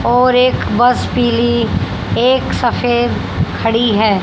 और एक बस पीली एक सफेद खड़ी है।